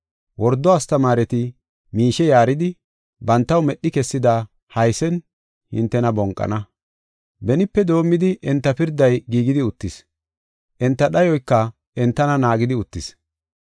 Wordo astamaareti miishe yaaridi bantaw medhi kessida haysen hintena bonqana. Benipe doomidi enta pirday giigidi uttis; enta dhayoyka entana naagidi uttis.